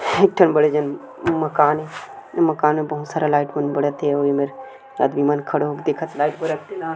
एक ठन बड़े जान मकान मकान मन बहुत सारा लाइट मन बरा थे अउ एमेर आदमी मन खड़ा होके देखत हे लाइट बरत तेला--